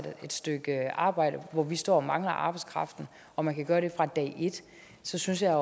et stykke arbejde hvor vi står og mangler arbejdskraften og man kan gøre det fra dag et så synes jeg